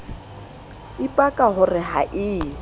ipaka ho re ha e